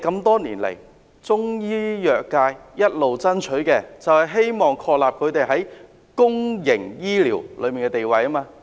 多年來，中醫藥界一直爭取的，就是他們在公營醫療中的地位。